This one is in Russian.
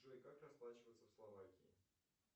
джой как расплачиваться в словакии